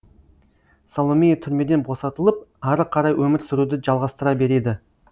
саломея түрмеден босатылып ары қарай өмір сүруді жалғастыра береді